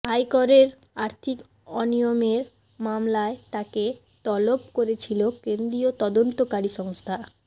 আইকোরের আর্থিক অনিয়মের মামলায় তাঁকে তলব করেছিল কেন্দ্রীয় তদন্তকারী সংস্থা